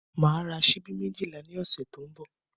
Màá ra ṣíbí méjìlá ní ọ̀sẹ̀ tó ń bọ̀